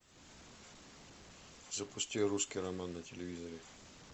запусти русский роман на телевизоре